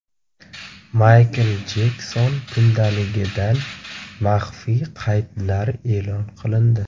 Maykl Jekson kundaligidan maxfiy qaydlar e’lon qilindi.